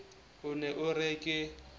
o ne o re ke